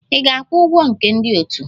Ị ga-akwụ ụgwọ nke ndị otu!